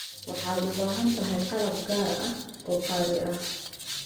Waxaad u baahan tahay qalab gaar ah oo qaali ah.